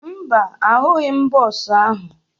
Mba, ahụghị m bọọsụ ahụ